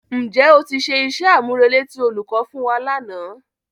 Ǹ jẹ́ o ti ṣe iṣẹ́-àmúrelé tí olùkọ́ fún wa lánàá?